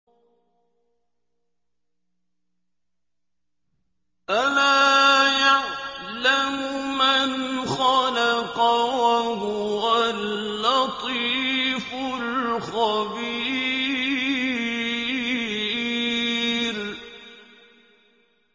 أَلَا يَعْلَمُ مَنْ خَلَقَ وَهُوَ اللَّطِيفُ الْخَبِيرُ